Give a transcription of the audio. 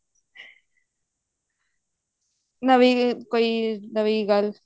ਨਵੀਂ ਕੋਈ ਨਵੀਂ ਗੱਲ